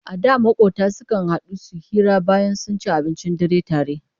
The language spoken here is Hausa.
A da maƙota sukan haɗu su hira bayan sun ci abincin dare tare.